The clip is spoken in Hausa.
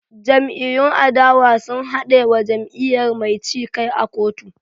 Jam'iyyun adawa sun haɗe wa jam'iyyar mai ci kai a kotu